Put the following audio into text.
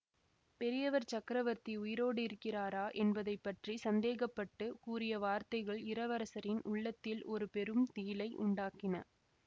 பெரியவர் சக்கரவர்த்தி உயிரோடிருக்கிறாரா என்பதை பற்றி சந்தேகப்பட்டுக் கூறிய வார்த்தைகள் இளவரசரின் உள்ளத்தில் ஒரு பெரும் திகிலை உண்டாக்கின